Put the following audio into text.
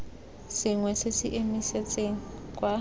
sengwe se se emisitseng kwa